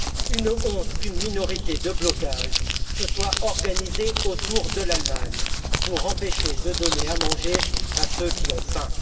Une honte qu'une minorité de blocage se soit organisée autour de l'Allemagne pour empêcher de donner à manger à ceux qui ont faim.